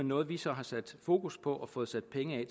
noget vi så har sat fokus på og fået sat penge